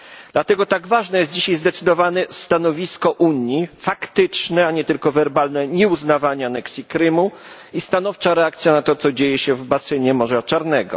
Dlatego tak ważne jest dzisiaj zdecydowane stanowisko Unii faktyczne, a nie tylko werbalne nieuznawanie aneksji Krymu i stanowcza reakcja na to, co dzieje się w basenie Morza Czarnego.